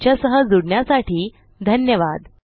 आमच्या सह जुडण्यासाठी धन्यवाद